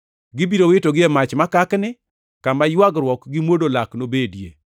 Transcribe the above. Gibiro witogi e mach makakni, kama ywagruok gi mwodo lak nobedie.